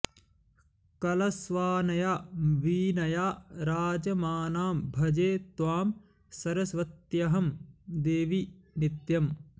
कलस्वानया वीणया राजमानां भजे त्वां सरस्वत्यहं देवि नित्यम्